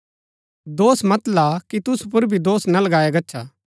दोष मत ला कि तुसु पुर भी दोष ना लगाया गच्छा